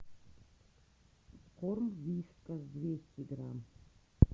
корм вискас двести грамм